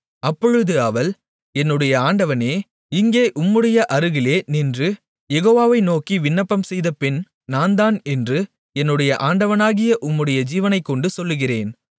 அப்பொழுது அவள் என்னுடைய ஆண்டவனே இங்கே உம்முடைய அருகிலே நின்று யெகோவாவை நோக்கி விண்ணப்பம் செய்த பெண் நான்தான் என்று என்னுடைய ஆண்டவனாகிய உம்முடைய ஜீவனைக் கொண்டு சொல்லுகிறேன்